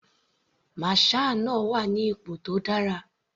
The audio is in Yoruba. Masher náà wà ní ipò tó dára.